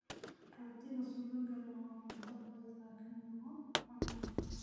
Rootiga subagga leh waa cunto fudud laakiin lagu qanco.